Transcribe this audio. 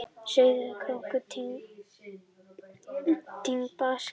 Sauðárkrókur og Tindastóll í baksýn.